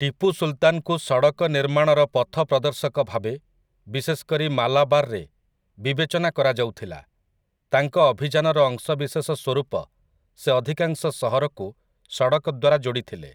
ଟିପୁ ସୁଲ୍‌ତାନ୍‌ଙ୍କୁ ସଡ଼କ ନିର୍ମାଣର ପଥପ୍ରଦର୍ଶକ ଭାବେ, ବିଶେଷ କରି ମାଲାବାର୍‌ରେ, ବିବେଚନା କରାଯାଉଥିଲା । ତାଙ୍କ ଅଭିଯାନର ଅଂଶବିଶେଷ ସ୍ୱରୂପ, ସେ ଅଧିକାଂଶ ସହରକୁ ସଡ଼କ ଦ୍ୱାରା ଯୋଡ଼ିଥିଲେ ।